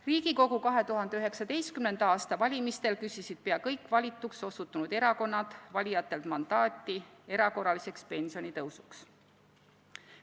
Riigikogu 2019. aasta valimistel küsisid pea kõik valituks osutunud erakonnad valijatelt mandaati erakorraliseks pensionitõusuks.